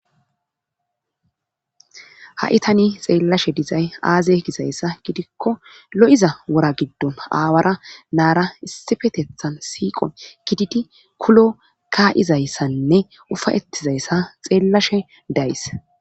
Ha7i tani xeellashe dizay aaze gizayssa gidikko lo7iza wora giddon aawara naara issifetethan siiqo gididi kulo ka7izayssanne ufayettizayssa xeellashe days